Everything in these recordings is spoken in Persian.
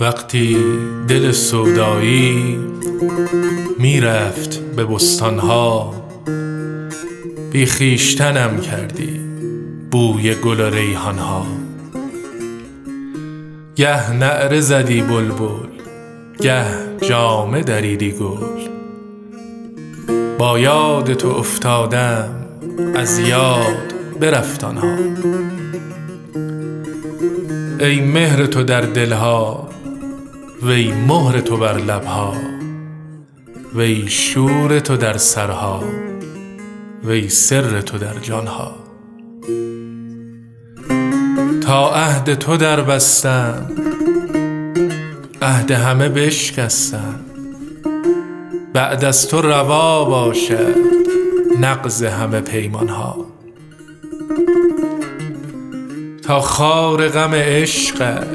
وقتی دل سودایی می رفت به بستان ها بی خویشتنم کردی بوی گل و ریحان ها گه نعره زدی بلبل گه جامه دریدی گل با یاد تو افتادم از یاد برفت آن ها ای مهر تو در دل ها وی مهر تو بر لب ها وی شور تو در سرها وی سر تو در جان ها تا عهد تو دربستم عهد همه بشکستم بعد از تو روا باشد نقض همه پیمان ها تا خار غم عشقت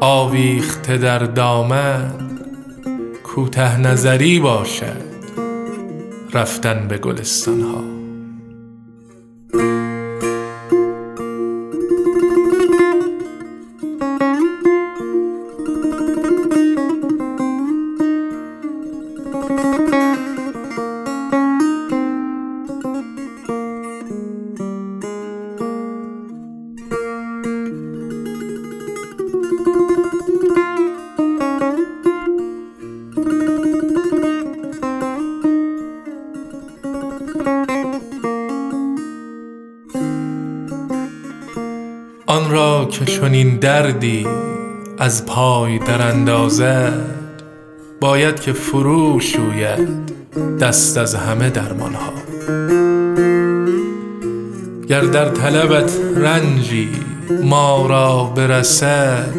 آویخته در دامن کوته نظری باشد رفتن به گلستان ها آن را که چنین دردی از پای دراندازد باید که فروشوید دست از همه درمان ها گر در طلبت رنجی ما را برسد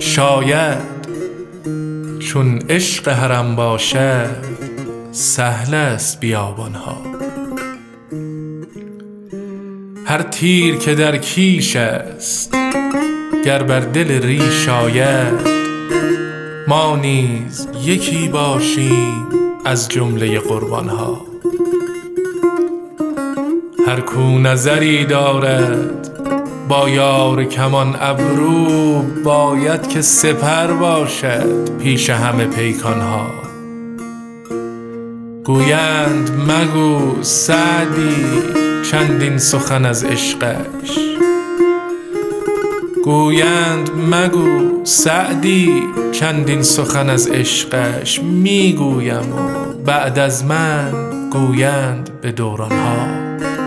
شاید چون عشق حرم باشد سهل است بیابان ها هر تیر که در کیش است گر بر دل ریش آید ما نیز یکی باشیم از جمله قربان ها هر کاو نظری دارد با یار کمان ابرو باید که سپر باشد پیش همه پیکان ها گویند مگو سعدی چندین سخن از عشقش می گویم و بعد از من گویند به دوران ها